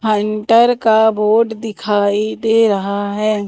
Hunter का board दिखाई दे रहा है।